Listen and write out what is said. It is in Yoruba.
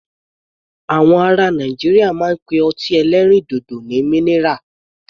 Àwọn ará Nàìjíríà máa ń pe ọtí ẹlẹ́rìndòdò ní minira.